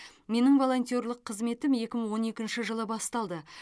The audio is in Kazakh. менің волонтерлік қызметім екі мың он екінші жылы басталды